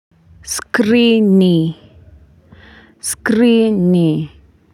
Skrini Skrini.